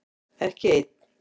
Ekki einn